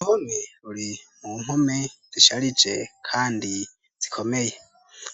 Uruhome ruri mu mpome zisharije kandi zikomeye,